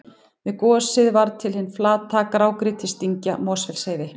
Við gosið varð til hin flata grágrýtisdyngja Mosfellsheiði.